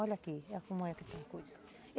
Olha aqui, como é que tem coisa.